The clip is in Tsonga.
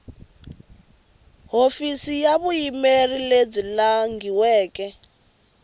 hofisi ya vuyimeri lebyi langhiweke